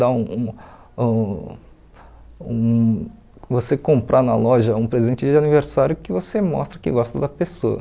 Dar um um um... Você comprar na loja um presente de aniversário que você mostra que gosta da pessoa.